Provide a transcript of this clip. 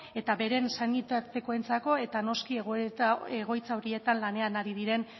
eta beren senitartekoentzako eta noski egoitza horietan lanean ari diren